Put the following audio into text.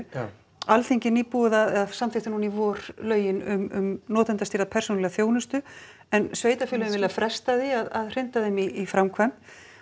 já Alþingi samþykkti núna í vor lögin um notendastýrða persónulega þjónustu en sveitarfélögin vilja fresta því að hrinda þeim í framkvæmd